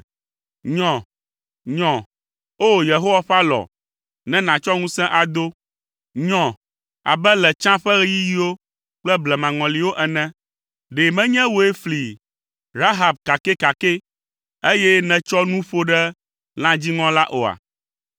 Nyɔ, nyɔ! O! Yehowa ƒe alɔ, ne nàtsɔ ŋusẽ ado. Nyɔ abe le tsã ƒe ɣeyiɣiwo kple blemaŋɔliwo ene. Ɖe menye wòe fli Rahab kakɛkakɛ, eye nètsɔ nu ƒo ɖe lã dziŋɔ la oa?